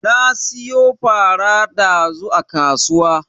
Na siyo fara dazu a kasuwa.